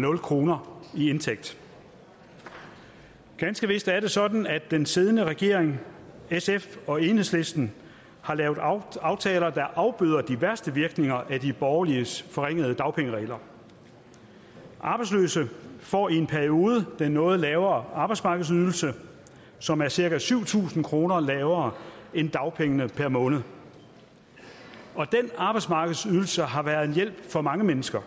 nul kroner i indtægt ganske vist er det sådan at den siddende regering sf og enhedslisten har lavet aftaler der afbøder de værste virkninger af de borgerliges forringede dagpengeregler arbejdsløse får i en periode den noget lavere arbejdsmarkedsydelse som er cirka syv tusind kroner lavere end dagpengene per måned den arbejdsmarkedsydelse har været en hjælp for mange mennesker